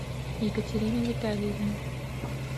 екатерина витальевна